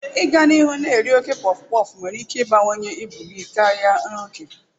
Ịga n'ihu na-eri oke pọfụpọfụ nwere ike ịbawanye ibu gị karịa n'oge.